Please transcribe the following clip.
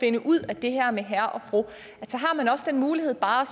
finde ud af det her med herre og fru har man også den mulighed bare